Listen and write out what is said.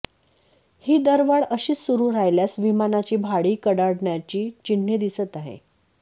ही दरवाढ अशीच सुरू राहिल्यास विमानाची भाडी कडाडण्याची चिन्हे दिसत आहे